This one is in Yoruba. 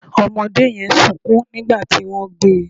Ọmọdé yẹn sunkún nígbà tí wọ́n gbé e